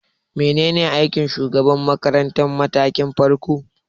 Menene aikin shugaban makarantar matakin farko?